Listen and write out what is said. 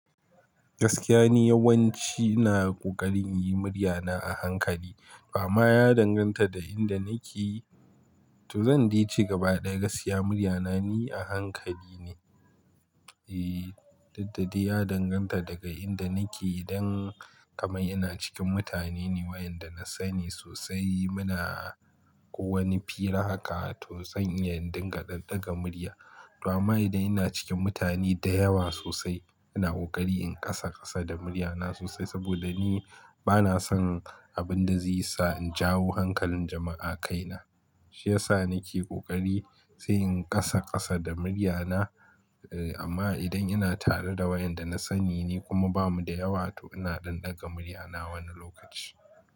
Gaskiya ni yawanci, ina ƙoƙarin yi murya na a hankali. Amma ya danganta da inda nake. To zan de ce gaba ɗaya gaskiya murya na, ni a hankali ne. Eh, dukɗada ya danganta daga inda nake. Idan kamar ina cikin mutane ne, wayanda na sani sosai muna ko wani fira haka to zan iya in ɗinga ɗanɗaga murya. Ama idan ina cikin mutane da yawa sosai, ina ƙoƙari in ƙasa ƙasa da murya na sosai saboda ni bana son abin da zai sa in jawo hankalin jama'a a kaina. Shi ya sa nake ƙoƙari sai in ƙasa ƙasa da murya na. E amma idan ina tare da wayanda na sani ne kuma ba mu da yawa to ina ɗinɗaga murya na wani lokaci.